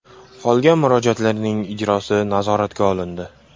Qolgan murojaatlarning ijrosi nazoratga olindi.